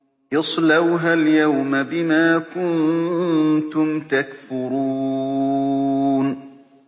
اصْلَوْهَا الْيَوْمَ بِمَا كُنتُمْ تَكْفُرُونَ